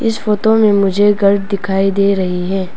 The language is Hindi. फोटो में मुझे घर दिखाई दे रही है।